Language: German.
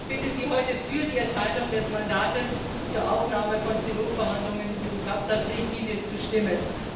Ich bitte Sie heute, für die Erteilung des Mandats zur Aufnahme von Trilogverhandlungen über die CabSat Richtlinie zu stimmen.